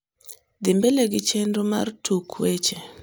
dhi mbele gi chenro mar tuk weche